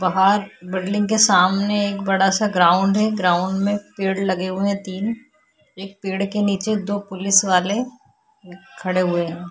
बहार बिल्डिंग के सामने एक बड़ा सा ग्राउंड है। ग्राउंड में पेड़ लगे हुए है तीन। एक पेड़ के निचे दो पुलिस वाले ख-खड़े हुए है।